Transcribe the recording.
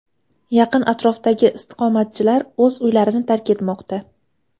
Yaqin atrofdagi istiqomatchilar o‘z uylarini tark etmoqda.